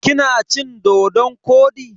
Kina cin-dodon kwodi?